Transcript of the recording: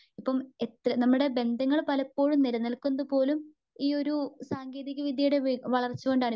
ഇപ്പം എത്ര നമ്മുടെ ബന്ധങ്ങൾ പലപ്പോഴും നിലനിൽക്കുന്നതുപോലും ഈ ഒരു സാങ്കേതിക വിദ്ത്യയുടെ വളർച്ചകൊണ്ടാണ്.